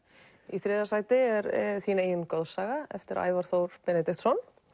í þriðja sæti er þín eigin goðsaga eftir Ævar Þór Benediktsson